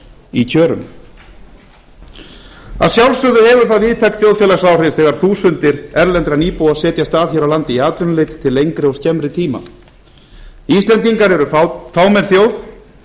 í kjörum að sjálfsögðu hefur það víðtæk þjóðfélagsáhrif þegar þúsundir erlendra nýbúa setjast að hér á landi í atvinnuleit til lengri og skemmri tíma íslendingar eru fámenn þjóð